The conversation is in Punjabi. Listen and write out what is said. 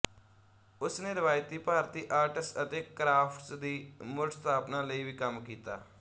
ਉਸ ਨੇ ਰਵਾਇਤੀ ਭਾਰਤੀ ਆਰਟਸ ਅਤੇ ਕਰਾਫਟਸ ਦੀ ਮੁੜਸਥਾਪਨਾ ਲਈ ਵੀ ਕੰਮ ਕੀਤਾ